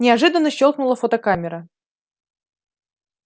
неожиданно щёлкнула фотокамера